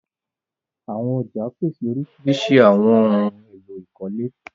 Àwọn ọ̀já pese oríṣíríṣí awọn ohun èlò ìkọ́lé.